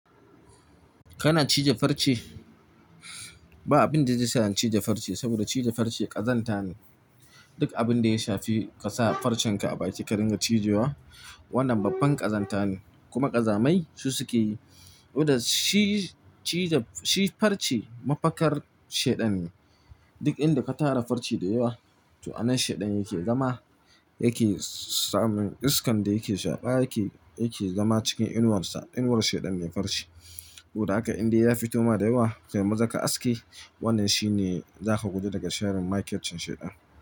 Kana cije farce? Ba abin da zai sa in cije farce, saboda cije farce ƙazanta ne. Duk abin da ya shafi ka sa farcenka a baki ka ringa cije wa, wannan babban ƙazanta ne kuma ƙazamai su suke yi. Kuda shi farce mafakar shaiɗan ne. Duk inda ka tara farce da yawa, to anan shaiɗan yake zama, yake samun iskan da yake shaƙa yake, yake zama cikin inuwarsa. Inuwar shaiɗan ne farce. Kuda haka inda ya fito ma da yawa kai maza ka aske. Wannan shi ne za ka gudu daga sharin makir cin shaiɗan.